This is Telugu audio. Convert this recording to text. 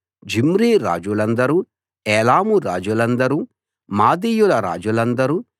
జిమ్రీ రాజులందరూ ఏలాము రాజులందరూ మాదీయుల రాజులందరూ